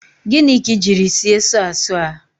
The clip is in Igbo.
Gịnị ka ị jiri sie sasua a?